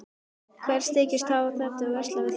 Hver þykist hafa hag af því að versla við Þjóðverja?